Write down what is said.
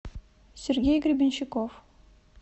сергей гребенщиков